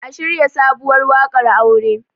a shirya sabuwar wakar aure!